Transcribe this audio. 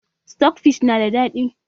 Sitok fish na da daɗi